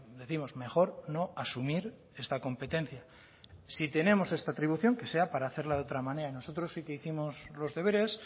décimos mejor no asumir esta competencia si tenemos esta atribución que sea para hacerlo de otra manera nosotros sí que hicimos los deberes